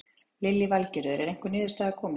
Lillý Valgerður: Er einhver niðurstaða komin?